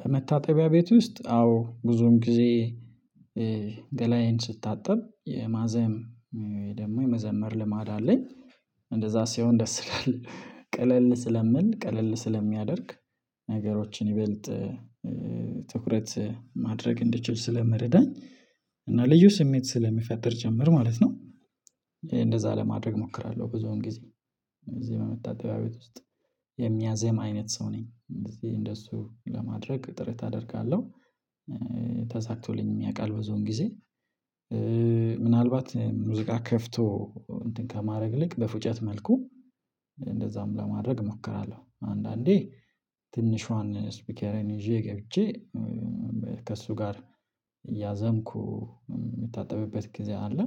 በመታጠቢያ ቤት ውስጥ አዎ ብዙን ጊዜ ገላዬን ስታጠብ የማዘም ደግሞ የመዘመር ልማድ አለኝ እንደዛ ሲሆን ደስ ይላል ቀለል ስለሚል ቀለል ስለሚያደርግ ነገሮችን ይበልጥ ትኩረት ማድረግ እንድችል ስለመረዳኝ እና ልዩ ስሜት ስለሚፈጠር ጭምር ማለት ነው እንደዛ ለማድረግ እሞክራለሁ ብዙም ጊዜ እዚህ በመታጠቢያ ቤት ውስጥ የሚያዜም አይነት ሰው ነኝ እንደዚህ እንደሱ ለማድረግ ጥረት አደርጋለሁ ተሳክቶልኝም ያውቃል ብዙን ጊዜ ምናልባት ሙዚቃ ከፍቶ እንትን ከማድረግ ይልቅ በፉጨት መልኩ እንደዛም ለማድረግ እሞክራለሁ አንዳንዴ ትንሿን ስፒኬሬን ይዤ ገብቼ ከእሱ ጋር እያዘምኩ የምታጠብበት ጊዜ አለ።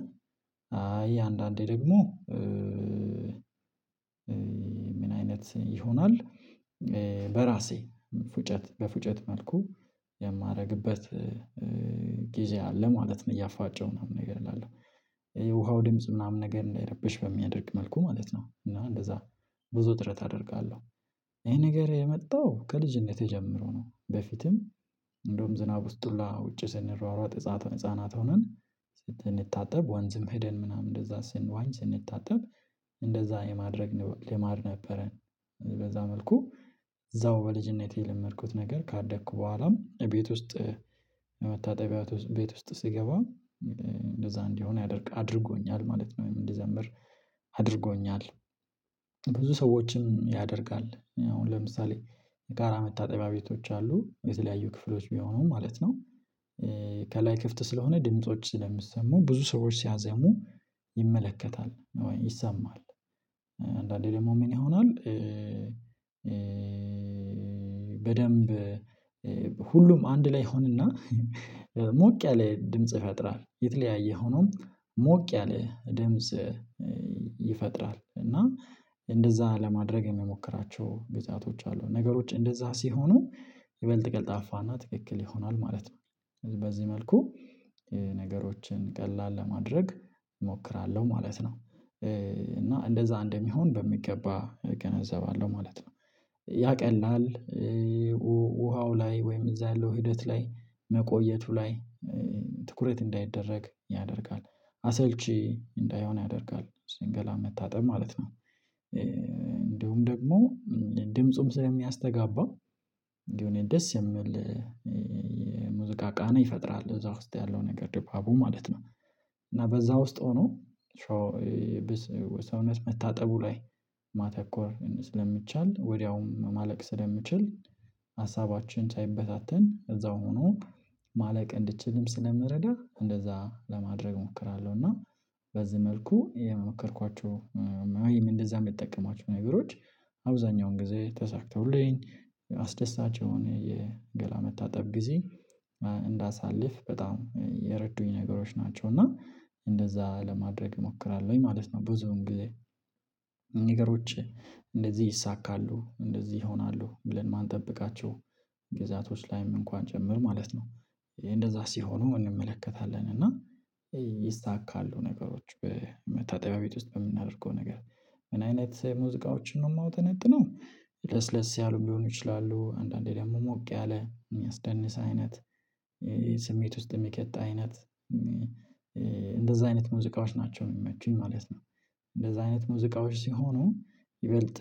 አይ አንዳንዴ ደግሞ ምን አይነት ይሆናል በራሴ ፉጨት በፉጨት መልኩ የማደርግበት ጊዜ አለ ማለት ነው እያፏጨሁ የሆነ ነገር እላለሁ። የውሃው ድምጽ ምናምን ነገር እንዳይረብሽ በሚያደርግ መልኩ ማለት ነው እና እንደዛ ብዙ ጥረት አደርጋለሁ። ይሄ ነገር የመጣው ከልጅነቴ ጀምሮ ነው በፊትም እንደውም ዝናብ ውስጥ ሁላ ውጪ ስንሯሯጥ ህፃናት ሆነን ስንታጠብ ወንዝም ሄደን ምናምን እንደዛ ስንዋኝ ስንታጠብ እንደዛ የማድረግ ልማድ ነበረን በዛ መልኩ እዛው በልጅነቴ የለመድኩት ነገር ካደኩ በኋላም ቤት ውስጥ መታጠቢያ ቤት ውስጥ ስገባም እንደዛ እንዲሆን ያደርግ አድርጎኛል ማለት ነው ወይም እንድዘምር አድርጎኛል። ብዙ ሰዎችም ያደርጋል አሁን ለምሳሌ የጋራ መታጠቢያ ቤቶች አሉ የተለያዩ ክፍሎች ቢሆኑም ማለት ነው ከላይ ክፍት ስለሆነ ድምጾች ስለሚሰሙ ብዙ ሰዎች ሲያዜሙ ይመለከታል ይሰማል አንዳንዴ ደግሞ ምን ይሆናል በደንብ ሁሉም አንድ ላይ ይሆንና ሞቅ ያለ ድምጽ ይፈጥራል የተለያየ ሆኖም ሞቅ ያለ ድምጽ ይፈጥራል እና እንደዛ ለማድረግ የሚሞክራቸው ጊዜያቶች አሉ። ነገሮች እንደዛ ሲሆኑ ይበልጥ ቀልጣፋና ትክክል ይሆናል ማለት ነው በዚህ መልኩ ነገሮችን ቀላል ለማድረግ እሞክራለሁ ማለት ነው፣ እና እንደዛ እንደሚሆን በሚገባ እገነዘባለሁ ማለት ነው። ያቀላል ውሃው ላይ ወይም እዛ ያለው ሂደት ላይ መቆየቱ ላይ ትኩረት እንዳይደረግ ያደርጋል አሰልቺ እንዳይሆን ያደርጋል ገላን መታጠብ ማለት ነው እንደሁም ደግሞ ድምፁም ስለሚያስተጋባ የሆነ ደስ የሚል ሙዚቃ ቃና ይፈጥራል እዛ ውስጥ ያለው ነገር ደባቡ ማለት ነው። እና በዛ ውስጥ ሆኖ ሰውነት መታጠቡ ላይ ማተኮር ስለሚቻል ወዲያውም ማለቅ ስለሚችል ሀሳባችን ሳይበታተን እዛው ሆኖ ማለቅ እንዲችልም ስለምረዳ እንደዛ ለማድረግ እሞክራለሁ እና በዚህ መልኩ የሞከርኳቸው እንደዛ የምጠቀማቸው ነገሮች አብዛኛውን ጊዜ ተሳክተውልኝ አስደሳች የሆነ የገላ መታጠብ ጊዜ እንዳሳልፍ በጣም የረዱኝ ነገሮች ናቸው። እና እንደዛ ለማድረግ እሞክራለሁኝ ማለት ነው ብዙ እንግዲህ ነገሮች እንደዚህ ይይሳካሉ፣ እንደዚህ ይሆናሉ ብለን የማንጠብቃቸው ግዛቶች ላይም እንኳን ጨምር ማለት ነው እንደዛ ሲሆኑ እንመለከታለን እና ይሳካሉ ነገሮች በመታጠቢያ ቤት ውስጥ በምናደርገው ነገር ምን አይነት ሙዚቃዎችን ነው የማውጠነጥነው ለስለስ ያሉ ሊሆኑ ይችላሉ አንዳንዴ ደግሞ ሞቅ ያለ የሚያስደንስ አይነት ይሄ ስሜት ውስጥ የሚከት አይነት እንደዛ አይነት ሙዚቃዎች ናቸው የሚመቹኝ ማለት ነው እንደዛ አይነት ሙዚቃዎች ሲሆኑ ይበልጥ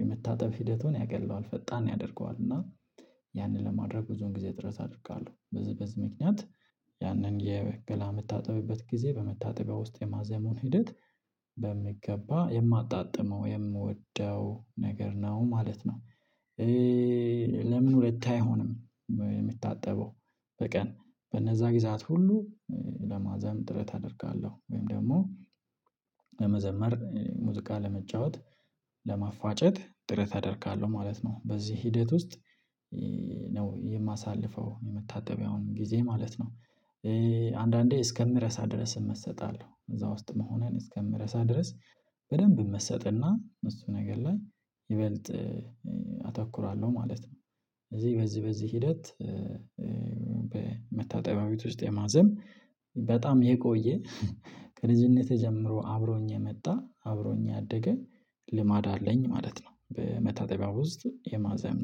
የመታጠብ ሂደቱን ያቀለዋል ፈጣን ያደርገዋል እና ያንን ለማድረግ ብዙን ጊዜ ጥረት አድርጋለሁ በዚህ በዚህ ምክንያት ያንን የገላ የምታጠብበት ጊዜ በመታጠቢያ ውስጥ የማዜሙን ሂደት በምገባ የማጣጥመው የምወደው ነገር ነው ማለት ነው። ለምን ሁለት አይሆንም የምታጠበው በቀን በነዛ ጊዜ ሰዓት ሁሉ ለማዘም ጥረት አደርጋለሁ ወይም ደግሞ ለመዘመር ሙዚቃ ለመጫወት ለማፋጨት ጥረት ተደርጋለሁ ማለት ነው። በዚህ ሂደት ውስጥ ነው የማሳልፈው የመታጠቢያውን ጊዜ ማለት ነው አንዳንዴ እስከምረሳ ድረስ እመሰጣለው እዛ ውስጥ መሆኔን እስከምረሳ ድረስ በደንብ መሰጥና እሱ ነገር ላይ ይበልጥ አተኩራለሁ ማለት ነው። ስለዚህ በዚህ በዚህ ሂደት በመታጠቢያ ቤት ውስጥ የማዘም በጣም የቆየ ከልጅነቴ ጀምሮ አብሮኝ የመጣ አብሮኝ ያደገ ልማድ አለኝ ማለት ነው በመታጠቢያው ውስጥ የማዘም